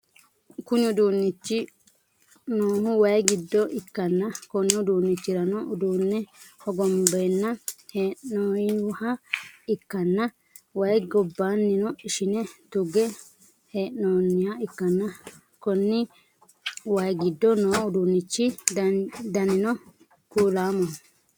Kuni uduunnichi noohu waayii giddo ikkanna Konni uduunichirano uduunne hogonbbe heenoyyiha ikkanna wayyi gobaanino ishine tugge heenooniha ikkanna Konni waayii giddo noo udinichi danino kuulaamoho